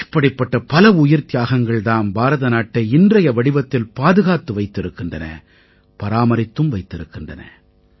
இப்படிப்பட்ட பல உயிர்த்தியாகங்கள் தாம் பாரதநாட்டை இன்றைய வடிவத்தில் பாதுகாத்து வைத்திருக்கின்றன பராமரித்தும் வைத்திருக்கின்றன